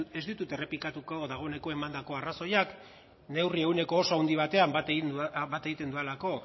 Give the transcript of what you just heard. ez ditut errepikatuko dagoeneko emandako arrazoiak neurri ehuneko oso handi batean bat egiten dudalako